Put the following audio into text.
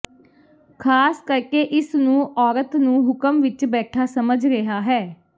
ਖ਼ਾਸ ਕਰਕੇ ਇਸ ਨੂੰ ਔਰਤ ਨੂੰ ਹੁਕਮ ਵਿਚ ਬੈਠਾ ਸਮਝ ਰਿਹਾ ਹੈ